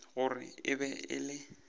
gore e be e le